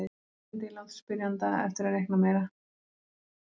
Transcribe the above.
Ég held að ég láti spyrjanda eftir að reikna meira.